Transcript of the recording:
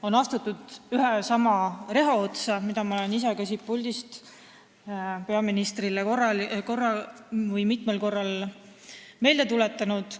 On astutud ühe ja sama reha otsa, mida ma olen ka ise siit puldist peaministrile mitmel korral meelde tuletanud.